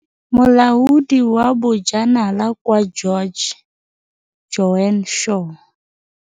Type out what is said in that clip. Molaodi wa Bojanala kwa George, Joan Shaw.